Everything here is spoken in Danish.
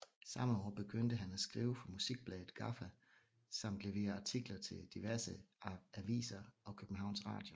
Samme år begyndte han at skrive for musikbladet Gaffa samt levere artikler til diverse aviser og Københavns Radio